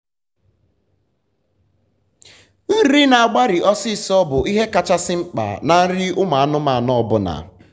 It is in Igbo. nri n'agbari ọsisọ bụ ihe kachasị mkpa na nri ụmụ anụmanụ ọbụla